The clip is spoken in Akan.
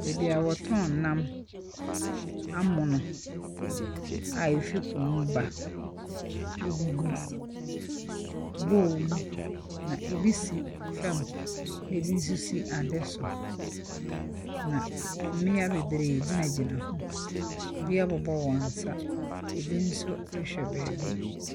Baabi a wɔtɔn nam amono a efi po mu ba. Egugu bowl mu, na ebi si fa, ɛna ebi nso si ade so, na mmea bebree gyinagyina ho. Ebi abobɔ wɔn nsa, ebi nso rehwɛ baabi.